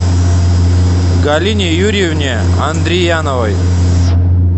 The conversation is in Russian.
галине юрьевне андрияновой